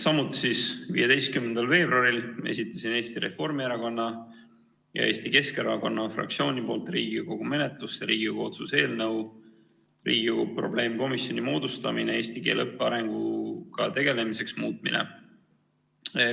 Samuti 15. veebruaril esitasin Eesti Reformierakonna ja Eesti Keskerakonna fraktsiooni nimel Riigikogu menetlusse Riigikogu otsuse "Eesti keele õppe arengu probleemkomisjoni moodustamine" muutmise eelnõu.